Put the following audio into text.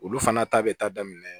Olu fana ta bɛ taa daminɛ